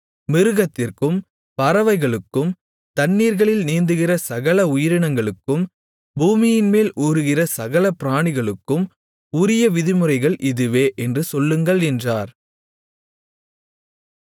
மிருகத்திற்கும் பறவைகளுக்கும் தண்ணீர்களில் நீந்துகிற சகல உயிரினங்களுக்கும் பூமியின்மேல் ஊருகிற சகல பிராணிகளுக்கும் உரிய விதிமுறைகள் இதுவே என்று சொல்லுங்கள் என்றார்